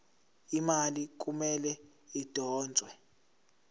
imali kumele idonswe